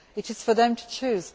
It is for them to choose.